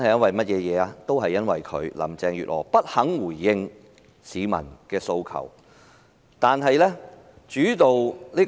就是由於林鄭月娥不肯回應市民的訴求。